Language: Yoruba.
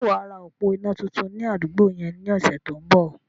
Sé wàá ra òpó iná tuntun ní àdúgbò yẹn ní ọ̀sẹ̀ tó ń bọ̀?